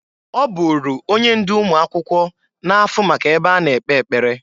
Ọ bụrụ onye ndụ ụmụakwụkwọ na-afụ maka ebe a na-ekpe ekpere.